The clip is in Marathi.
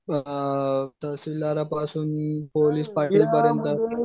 अ प्रसंग पोलीस